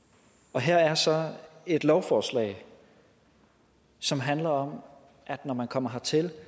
af her er så et lovforslag som handler om at når man kommer hertil